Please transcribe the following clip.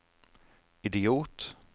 idiot